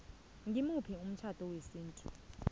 ngimuphi umtjhado wesintu